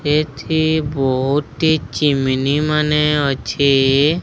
ଏଠି ବହୁତ ହି ଚିମିନିମାନେ ଅଛି।